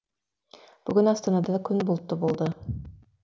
бүгін астанада күн бұлтты болды